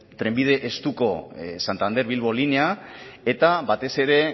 trenbide estuko santander bilbo linea eta batez ere